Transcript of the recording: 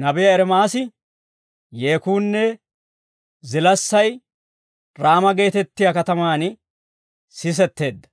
Nabiyaa Ermaasi, «Yeekuunne zilaassay Raama geetettiyaa katamaan sisetteedda;